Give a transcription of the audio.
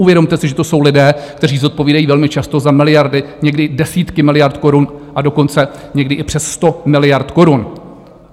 Uvědomte si, že to jsou lidé, kteří zodpovídají velmi často za miliardy, někdy desítky miliard korun, a dokonce někdy i přes sto miliard korun.